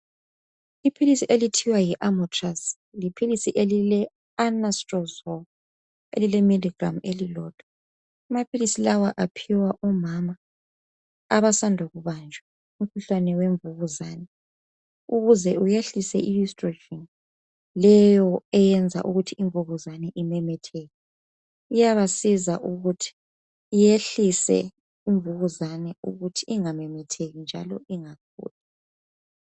iphilisi elithiwa yi Anatrozole yiphilisi elile milligramm elilodwa amaphilisi lawa aphiwa omama abasanda ukubanjwa umkhuhlane wemvukuzane ukuze uyehlise i oestrogen leyo eyenza ukuthi imvukuzane imemetheke iyabasiza ukuthi iyehlise imvukuzane ukuthi ingamemetheki njalo